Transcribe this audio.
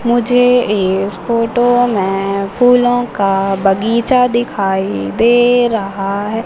मुझे इस फोटो में फूलों का बगीचा दिखाई दे रहा है।